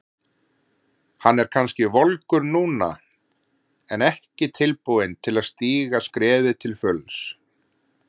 Hann er kannski volgur núna en ekki tilbúinn til að stíga skrefið til fulls.